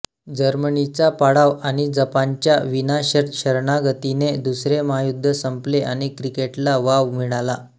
जर्मनीचा पाडाव आणि जपानच्या विनाशर्त शरणागतीने दुसरे महायुद्ध संपले आणि क्रिकेटला वाव मिळाला